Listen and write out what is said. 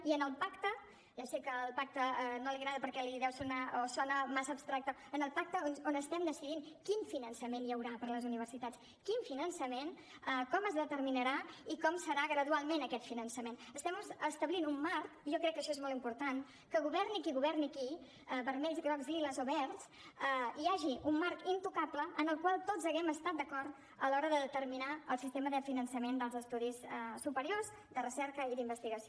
i en el pacte ja sé que el pacte no li agrada perquè sona massa abstracte on estem decidint quin finançament hi haurà per a les universitats quin finançament com es determinarà i com serà gradualment aquest finançament estem establint un marc jo crec que això és molt important que governi qui governi aquí vermells grocs liles o verds hi hagi un marc intocable en el qual tots haguem estat d’acord a l’hora de determinar el sistema de finançament dels estudis superiors de recerca i d’investigació